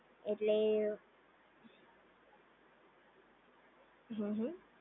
એટલ હમ્મ હમ્મ